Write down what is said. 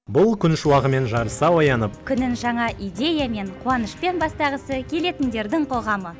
бұл күн шуағымен жарыса оянып күнін жаңа идеямен қуанышпен бастағысы келетіндердің қоғамы